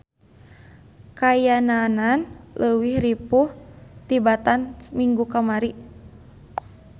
Kaayananan leuwih ripuh tibatan minggu kamari.